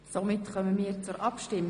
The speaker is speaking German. Wir kommen zur Abstimmung.